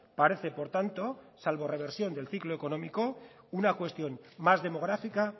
parece por tanto salvo reversión del ciclo económico una cuestión más demográfica